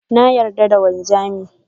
Na yarda da wanzamin.